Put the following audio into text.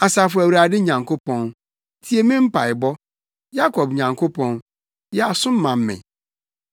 Asafo Awurade Nyankopɔn, tie me mpaebɔ; Yakob Nyankopɔn, yɛ aso ma me.